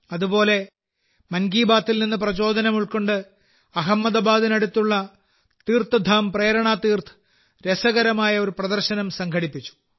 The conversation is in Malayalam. അതുപോലെ മൻ കി ബാത്തിൽ നിന്ന് പ്രചോദനം ഉൾക്കൊണ്ട് അഹമ്മദാബാദിനടുത്തുള്ള തീർഥധാം പ്രേരണ തീർഥ് രസകരമായ ഒരു പ്രദർശനം സംഘടിപ്പിച്ചു